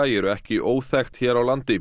eru ekki óþekkt hér á landi